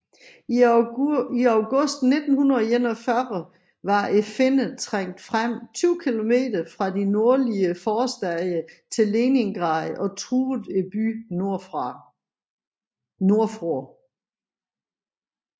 I august 1941 var finnerne trængt frem 20 km fra de nordlige forstæder til Leningrad og truede byen nordfra